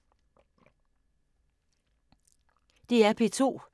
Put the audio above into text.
DR P2